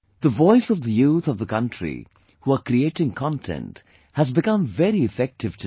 The voice of the youth of the country who are creating content has become very effective today